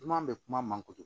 N man bɛ kuma man kojugu